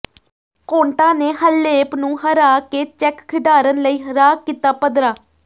Konta ਨੇ Halep ਨੂੰ ਹਰਾ ਕੇ ਚੈੱਕ ਖਿਡਾਰਨ ਲਈ ਰਾਹ ਕੀਤਾ ਪੱਧਰਾ